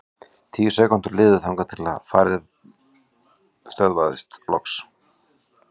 Tíu sekúndur liðu þangað til farið stöðvaðist loks.